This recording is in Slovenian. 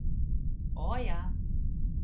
O, ja!